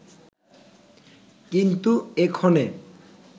কিন্তু এক্ষণে